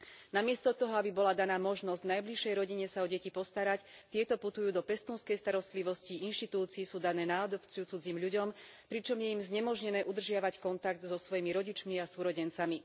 Namiesto toho, aby bola daná možnosť najbližšej rodine sa o deti postarať, tieto putujú do pestúnskej starostlivosti, inštitúcií, sú dané na adopciu cudzím ľuďom, pričom je im znemožnené udržiavať kontakt so svojimi rodičmi a súrodencami.